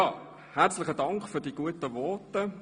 Herzlichen Dank für die freundlichen Voten.